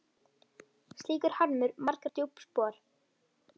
Slíkur harmur markar djúp spor.